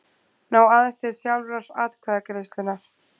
ná aðeins til sjálfrar atkvæðagreiðslunnar.